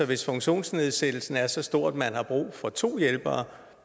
hvis funktionsnedsættelsen er så stor at man har brug for to hjælpere